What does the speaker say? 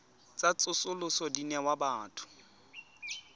tsa tsosoloso di newa batho